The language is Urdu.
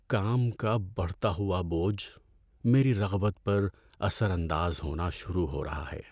کام کا بڑھتا ہوا بوجھ میری رغبت پر اثر انداز ہونا شروع ہو رہا ہے۔